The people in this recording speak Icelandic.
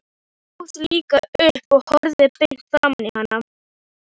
Ég stóð líka upp og horfði beint framan í hana.